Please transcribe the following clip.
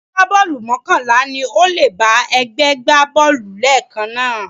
Agbábọ́ọ̀lù mọ́kànlá ni ó lè bá ẹgbẹ́ gbá bọ́ọ̀lù lẹ́ẹ̀kan náà